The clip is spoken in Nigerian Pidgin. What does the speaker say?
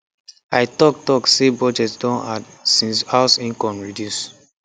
i talk talk say budget don hard since house income reduce